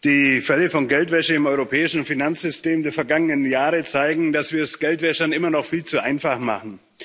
Die Fälle von Geldwäsche im europäischen Finanzsystem der vergangenen Jahre zeigen, dass wir es Geldwäschern immer noch viel zu einfach machen.